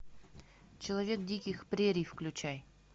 человек диких прерий включай